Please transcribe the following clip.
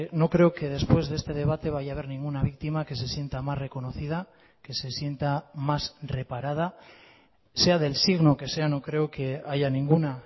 no creo que después de este debate vaya a haber ninguna víctima que se sienta más reconocida que se sienta más reparada sea del signo que sea no creo que haya ninguna